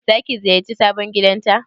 Zaki ziyarci sabon gidanta?